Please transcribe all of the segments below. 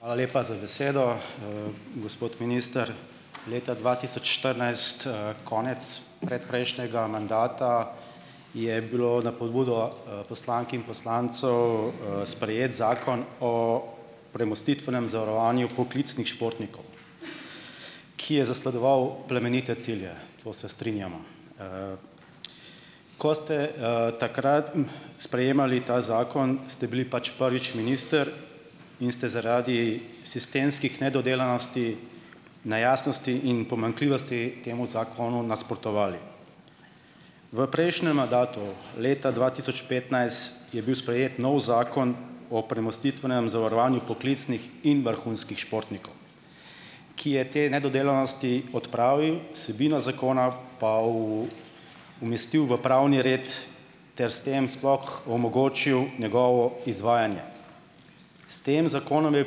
Hvala lepa za besedo. Gospod minister, leta dva tisoč štirinajst, konec predprejšnjega mandata je bilo na pobudo, poslank in poslancev, sprejet Zakon o premostitvenem zavarovanju poklicnih športnikov, ki je zasledoval plemenite cilje. To se strinjamo. Ko ste, takrat, sprejemali ta zakon, ste bili pač prvič minister in ste zaradi sistemskih nedodelanosti, nejasnosti in pomanjkljivosti temu zakonu nasprotovali. V prejšnjem mandatu leta dva tisoč petnajst je bil sprejet novi Zakon o premostitvenem zavarovanju poklicnih in vrhunskih športnikov, ki je te nedodelanosti odpravil, vsebino zakona pa umestil v pravni red ter s tem sploh omogočil njegovo izvajanje. S tem zakonom je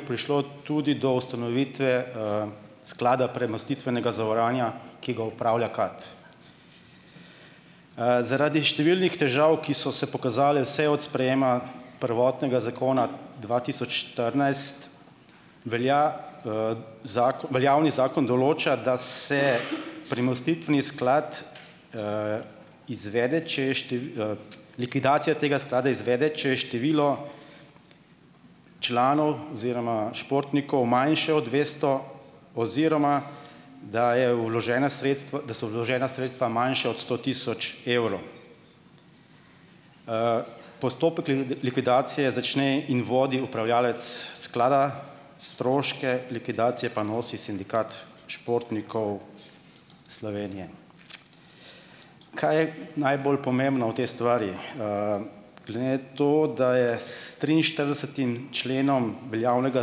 prišlo tudi do ustanovitve, Sklada premostitvenega zavarovanja, ki ga upravlja KAD. Zaradi številnih težav, ki so se pokazale vse od sprejema prvotnega zakona dva tisoč štirinajst, velja, veljavni zakon določa, da se premostitveni sklad, izvede, če je, likvidacija tega sklada izvede, če je število članov oziroma športnikov manjše od dvesto oziroma da je vložena sredstev, da so vložena sredstva manjša od sto tisoč evrov. Postopek likvidacije začne in vodi upravljavec sklada, stroške likvidacije pa nosi Sindikat športnikov Slovenije. Kaj je najbolj pomembno v tej stvari? Glede na to, da je s triinštiridesetim členom veljavnega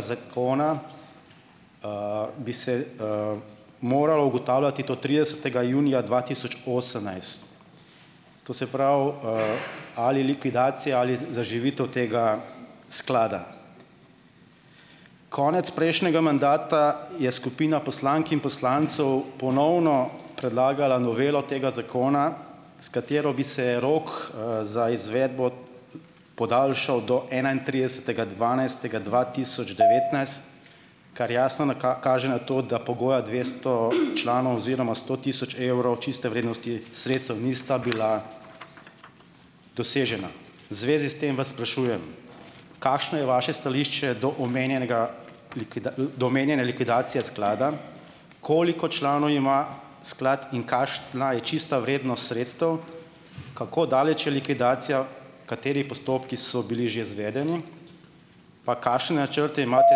zakona, bi se, moralo ugotavljati do tridesetega junija dva tisoč osemnajst, to se pravi, ali likvidacija ali zaživitev tega sklada. Konec prejšnjega mandata je skupina poslank in poslancev ponovno predlagala novelo tega zakona, s katero bi se rok, za izvedbo podaljšal do enaintridesetega dvanajstega dva tisoč devetnajst, kar jasno kaže na to, da pogoja dvesto članov oziroma sto tisoč evrov čiste vrednosti sredstev nista bila dosežena. V zvezi s tem vas sprašujem, kakšno je vaše stališče do omenjenega do omenjene likvidacije sklada, koliko članov ima sklad in kakšna je čista vrednost sredstev, kako daleč je likvidacija, kateri postopki so bili že zvedeni, pa kakšne načrte imate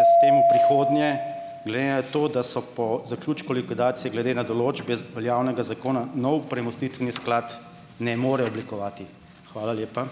s tem v prihodnje glede na to, da se po zaključku likvidacije glede na določbe z veljavnega zakona nov premostitveni sklad ne more oblikovati. Hvala lepa.